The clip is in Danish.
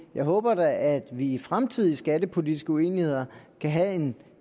jeg håber da at vi i fremtidige skattepolitiske uenigheder kan have en